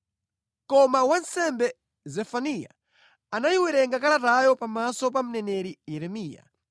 Koma wansembe Zefaniya anayiwerenga kalatayo pamaso pa mneneri Yeremiya.